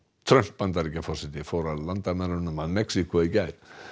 Trump Bandaríkjaforseti fór að landamærunum að Mexíkó í gær